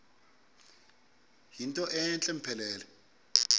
yinto entle mpelele